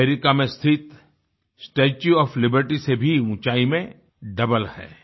America में स्थित Statue of Liberty से भी ऊँचाई में डबल है